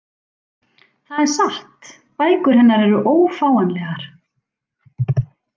Það er satt, bækur hennar eru ófáanlegar